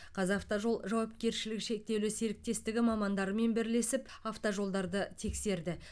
қазақавтожол жауапкершілігі шектеулі серіктестігі мамандарымен бірлесіп автожолдарды тексерді